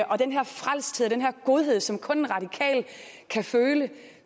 og den her frelsthed og den her godhed som kun en radikal kan føle